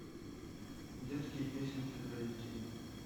детские песенки для детей